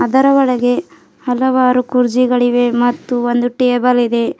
ಇದರ ಒಳಗೆ ಹಲವಾರು ಕುರ್ಜಿಗಳಿವೆ ಮತ್ತು ಒಂದು ಟೇಬಲ್ ಇದೆ.